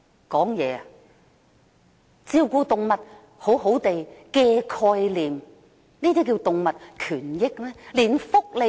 "謹慎照顧動物"的概念，這叫作動物權益嗎？